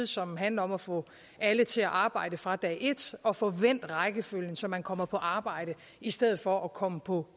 som handler om at få alle til at arbejde fra dag et og få vendt rækkefølgen så man kommer på arbejde i stedet for at komme på